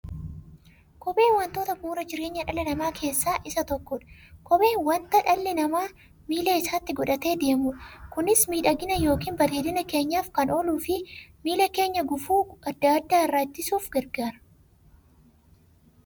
Kopheen wantoota bu'uura jireenya dhala namaa keessaa isa tokkodha. Kopheen wanta dhalli namaa miilla isaatti godhatee deemudha. Kunis miidhagani yookiin bareedina keenyaf kan ooluufi miilla keenya gufuu adda addaa irraa ittisuuf gargaara.